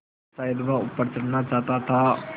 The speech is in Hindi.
शायद वह ऊपर चढ़ना चाहता था